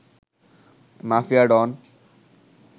mafia don